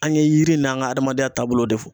An ye yiri n'an ka adamadenya taabolo de fɔ.